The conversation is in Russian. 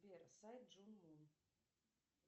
сбер сайт джун мун